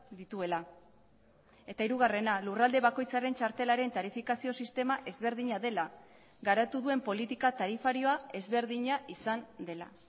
dituela eta hirugarrena lurralde bakoitzaren txartelaren tarifikazio sistema ezberdina dela garatu duen politika tarifarioa ezberdina izan dela